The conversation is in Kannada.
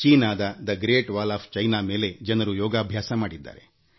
ಚೀನಾದ ಮಹಾ ಗೋಡೆಯ ಮೇಲೆ ಜನರು ಯೋಗಾಭ್ಯಾಸ ಮಾಡಿದ್ದಾರೆ